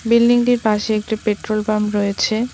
Building -টির পাশে একটি পেট্রোল পাম্প রয়েছে।